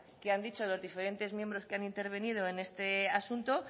que han dicho los diferentes miembros que han intervenido en este asunto